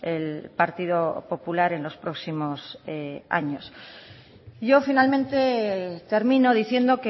el partido popular en los próximos años yo finalmente termino diciendo